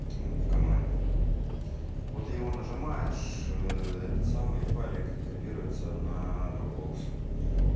в команде вот его нажимаешь этот самый файлик копируется на дропбокс